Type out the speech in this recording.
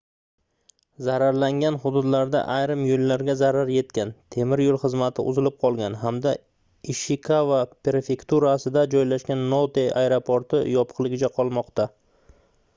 zararlangan hududlarda ayrim yoʻllarga zarar yetgan temir yoʻl xizmati uzilib qolgan hamda ishikava prefekturasida joylashgan note aeroporti yopiqligicha qolmoqda